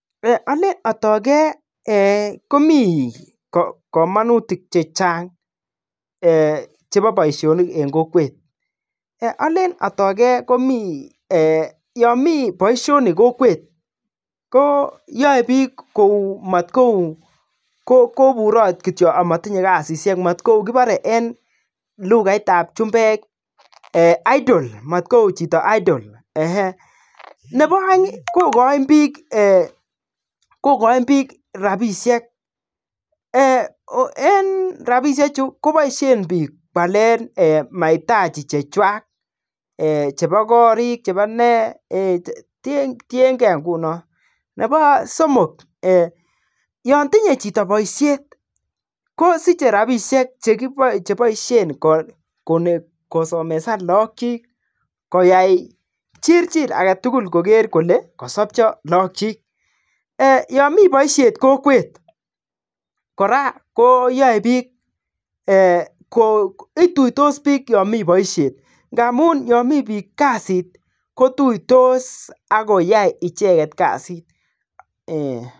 Ole atake komi kamanutik che chang chebo boisionik eng kokwet. Yo mi boisionik kokwet koyae piik koburat kityo amotinye kasit, si maigu chito idle. Nebo aeng, kogoin piik rabisiek, kipaisien mahitaji chechuak chebo korik, tien ke nguno. Nebo somok, yon tinye chito baisyet ko siche rabisiek che baishen kosomesan logok chik. Koyai piik chirchir kosapcha logok chik. Ya mi baisyet kokweet, ituitos piik.